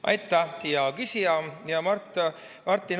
Aitah, hea küsija, hea Martin!